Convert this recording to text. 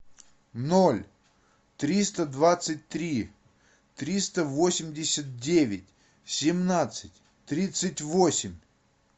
ноль триста двадцать три триста восемьдесят девять семнадцать тридцать восемь